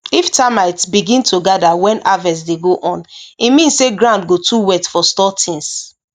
if termites begin to gather when harvest dey go on e mean say ground go too wet for store things